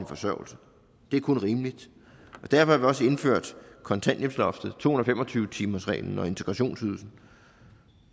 forsørgelse det er kun rimeligt derfor har vi også indført kontanthjælpsloftet to hundrede og fem og tyve timersreglen og integrationsydelsen